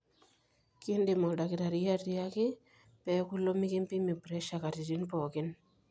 kiindim oldakitari atiaaki pee eeku ilo mekimbimi pressure katitin pooki